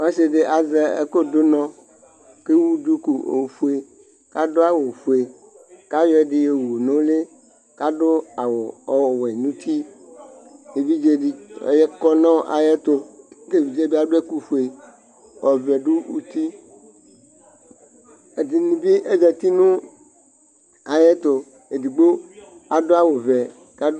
Ɔsɩ dɩ azɛ ɛkʋ dʋ ʋnɔ, kʋ ewʋ duku ofue, kʋ adʋ awʋ ofue, kʋ ayɔ ɛdɩ yo wʋ nʋ ʋlɩ, kʋ adʋ awʋ ɔwɛ nʋ uti Evidze dɩ ɔkɔ nʋ ayʋ ɛtʋ, kʋ evidze yɛ bɩ adʋ ɛkʋ ofue, ɔvɛ dʋ uti Ɛdɩnɩ bɩ azǝtɩ nʋ ayʋ ɛtʋ, edigbo adʋ awʋvɛ